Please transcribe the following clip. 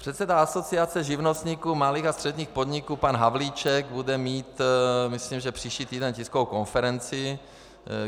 Předseda Asociace živnostníků, malých a středních podniků pan Havlíček bude mít, myslím, že příští týden, tiskovou konferenci.